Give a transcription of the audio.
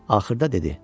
Axırda dedi: